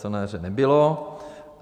To na jaře nebylo.